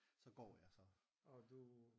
så går jeg så